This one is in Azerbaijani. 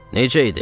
Necə idi?